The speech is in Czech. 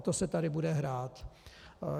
O to se tady bude hrát.